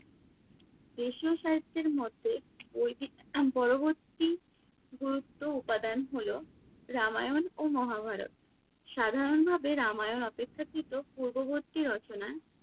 দেশীয় সাহিত্যের মধ্যে পরবর্তী গুরুত্ব উপাদান হলো রামায়ণ ও মহাভারত। সাধারণভাবে রামায়ণ অপেক্ষাকৃত পূর্ববর্তী রচনা।